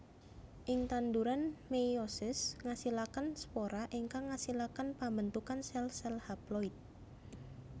Ing tanduran meiosis ngasilaken spora ingkang ngasilaken pembentukan sel sel haploid